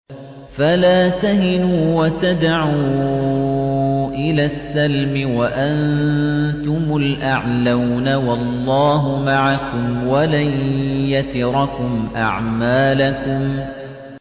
فَلَا تَهِنُوا وَتَدْعُوا إِلَى السَّلْمِ وَأَنتُمُ الْأَعْلَوْنَ وَاللَّهُ مَعَكُمْ وَلَن يَتِرَكُمْ أَعْمَالَكُمْ